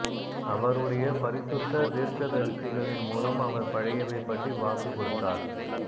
அவருடைய பரிசுத்த தீர்க்கதரிசிகளின் மூலம் அவர் பழையவை பற்றி வாக்குக் கொடுத்தார்